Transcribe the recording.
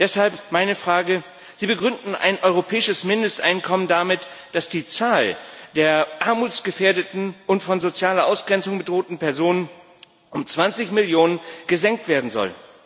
Deshalb meine Frage Sie begründen ein europäisches Mindesteinkommen damit, dass die Zahl der armutsgefährdeten und von sozialer Ausgrenzung bedrohten Personen um 20 Millionen gesenkt werden soll.